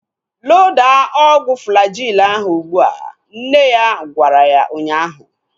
Loda ọgwụ Flajil ahu ụgbụa! Nne ya gwara ya ụnyaahụ